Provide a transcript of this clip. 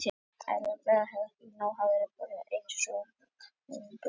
Allt þetta gerði ég án þess að hugsa, bara einsog vindurinn sem blæs.